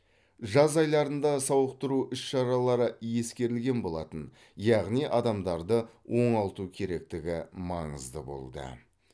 жаз айларында сауықтыру іс шаралары ескерілген болатын яғни адамдарды оңалту керектігі маңызды болды